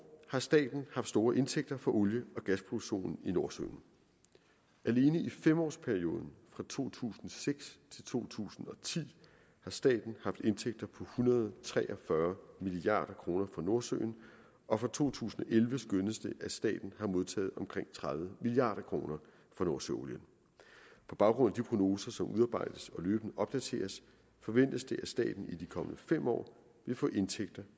har staten haft store indtægter fra olie og gasproduktionen i nordsøen alene i femårsperioden fra to tusind og seks til to tusind og ti har staten haft indtægter på en hundrede og tre og fyrre milliard kroner fra nordsøen og for to tusind og elleve skønnes det at staten har modtaget omkring tredive milliard kroner for nordsøolien på baggrund af de prognoser som udarbejdes og løbende opdateres forventes det at staten i de kommende fem år vil få indtægter